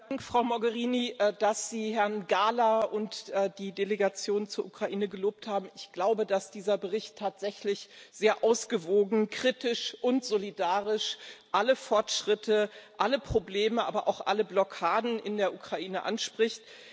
Herr Präsident! Vielen Dank, Frau Mogherini, dass Sie Herrn Gahler und die Delegation zur Ukraine gelobt haben. Ich glaube, dass dieser Bericht tatsächlich sehr ausgewogen, kritisch und solidarisch alle Fortschritte, alle Probleme, aber auch alle Blockaden in der Ukraine anspricht.